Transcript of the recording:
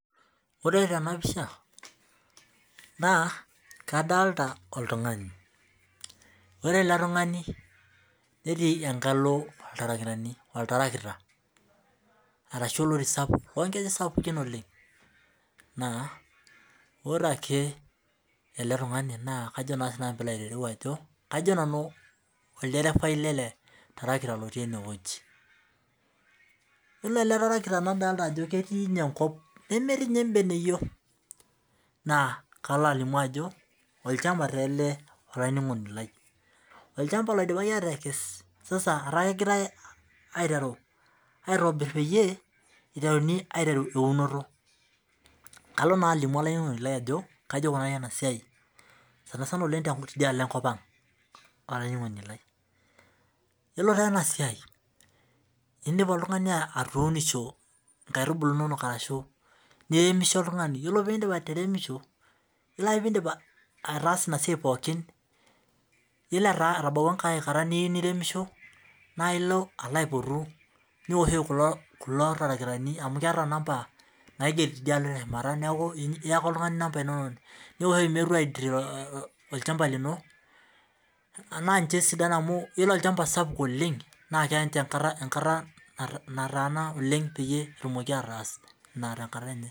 Ore tenapisha na kadolita oltungani ore eletungani netii enkalo oltarakita arashu orori sapuk lonkejek sapukin oleng na ore eletungani na ajo na sinanu kajo nanu olderefai leletarakita ore ele tarakita nadolita ajo etii enkop nemetii nye embeneyio na kalo alimu alimu ajo olchamba ogirai akes neaku aitobir peyie iteruni eunoto neaku kalo alimu olaininingoni lai enikuni peiteruni enasia sanasana tiadialo enkopang ore enasiai indim airemisho oltungani ore pindip ateremusho ore pidip ataasa enasiai pooki na ilo aipotu neoshoki kulo tarakitani amu keeta namba naigeri teshumata neaku oltungani namba inonok ninche sidan amu ore olchamba sapuk oleng na keya nataana petumokibataas tenkata enye